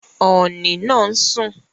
Ọ̀ọ̀nì naa ń sún